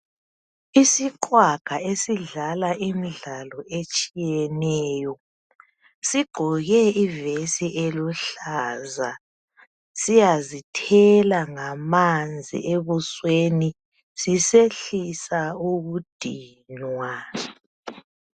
Isiqhwaga esidlala imidlalo etshiyeneyo sigqoke ivesi eluhlaza siyazithela ngamanzi ebusweni sisehlisa ukudinwa.